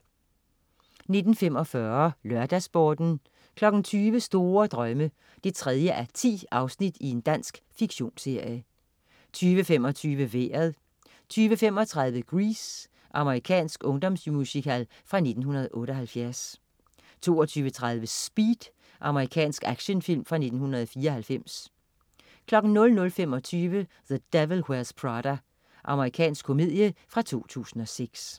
19.45 LørdagsSporten 20.00 Store Drømme 3:10. Dansk fiktionsserie 20.25 Vejret 20.35 Grease. Amerikansk ungdomsmusical fra 1978 22.30 Speed. Amerikansk actionfilm fra 1994 00.25 The Devil Wears Prada. Amerikansk komedie fra 2006